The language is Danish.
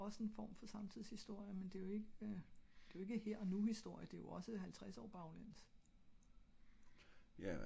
og det er jo ogs en form for samtidshistorie men det er jo ikke her og nu historie det er jo også halvtreds år baglæns